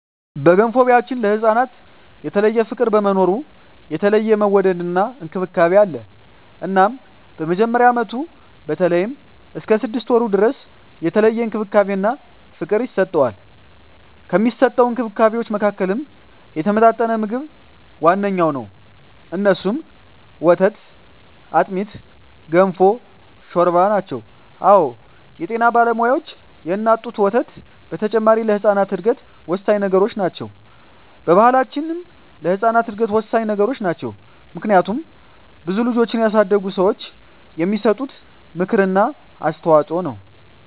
በገንፎ ቢያችን ለህፃናት የተለየ ፍቅር በመኖሩ የተለየ መወደድና እንክብካቤ አለ እናም በመጀመሪያ አመቱ በተለይም እስከ ስድስት ወሩ ድረስ የተለየ እንክብካቤና ፍቅር ይሰጠዋል። ከሚሰጠዉ እንክብካቤወች መካከልም የተመጣጠነ ምግብ ዋነኛዉ እነሱም፦ ወተት፣ አጥሚት፣ ገንፎ፣ ሾርባ አወ የጤና ባለሙያዋች የእናት ጡት ወተት በተጨማሪ ለህጻናት እድገት ወሳኚ ነገሮች ናቸው። በባሕላችንም ለህጻናት እድገት ወሳኚ ነገሮች ናቸው። ምክንያቱም ብዙ ልጆችን ያሳደጉ ሰዋች የሚሰጡት ምክር እና አስተዋጾ ነው።